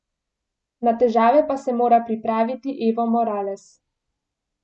Na težave pa se mora pripraviti Evo Morales.